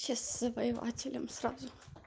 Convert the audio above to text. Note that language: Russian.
сейчас с завоевателем сразу